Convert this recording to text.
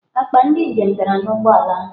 Akpa ndị njem dara n'ụgbọ ala ahụ.